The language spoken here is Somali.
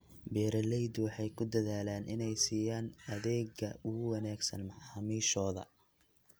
Beeraleydu waxay ku dadaalaan inay siiyaan adeegga ugu wanaagsan macaamiishooda.